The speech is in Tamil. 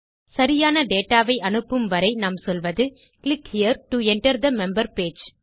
சரியான டேட்டா வை அனுப்பும் வரை நாம் சொல்வது click here to enter the member page